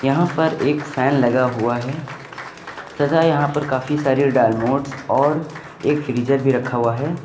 यहां पर एक फैन लगा हुआ है तथा यहां पर काफी सारी डायमंड्स और एक फ्रीजर भी रखा हुआ है।